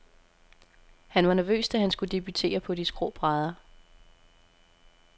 Han var nervøs, da han skulle debutere på de skrå brædder.